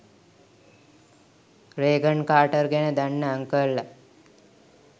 Reagan Carter ගැන දන්න අන්කල්ලා.